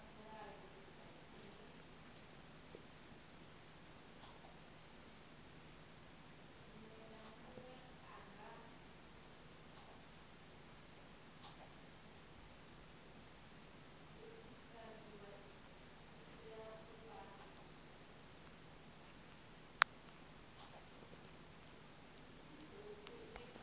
mo laela gore a mo